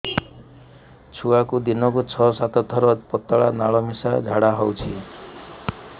ଛୁଆକୁ ଦିନକୁ ଛଅ ସାତ ଥର ପତଳା ନାଳ ମିଶା ଝାଡ଼ା ହଉଚି